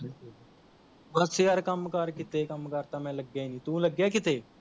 ਬੱਸ ਯਾਰ ਕੰਮ ਕਾਰ ਕਿੱਥੇ ਕੰਮ ਕਾਰ ਤਾਂ ਮੈਂ ਲੱਗਿਆ ਹੀ ਨਹੀ ਤੂੰ ਲੱਗਿਆ ਕਿੱਥੇ